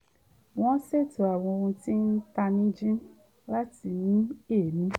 wọ́n ṣètò àwọn ohun tí ń tanijí láti mí èémí